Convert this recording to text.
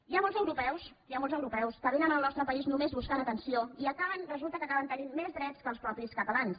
hi ha molts europeus que vénen al nostre país només buscant atenció i resulta que acaben tenint més drets que els mateixos catalans